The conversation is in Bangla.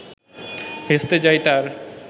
ভেস্তে যায় তার